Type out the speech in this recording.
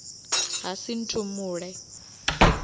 hasinthumule